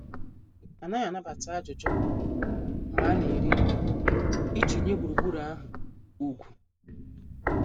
Anaghị anabata ajụjụ mgbe a na- eri nri, iji nye gburugburu ahụ ugwu.